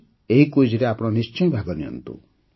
ଏହି କୁଇଜ୍ରେ ନିଶ୍ଚୟ ଭାଗ ନିଅନ୍ତୁ